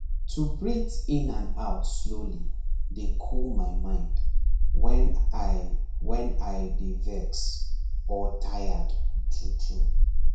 to breathe in and out slowly dey cool my mind when i when i dey vex or tired true true